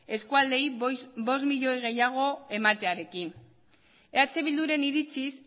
eskualdeei bost milioi gehiago ematearekin eh bilduren iritziz